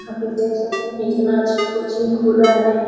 यहाँ पे देख सकते है इतना अच्छा कोचिंग खोला हैं।